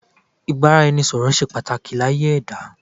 Ìbánisọ̀rọ̀ ṣe pàtàkì láyé ẹ̀dá.